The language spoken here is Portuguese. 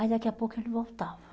Aí daqui a pouco ele voltava.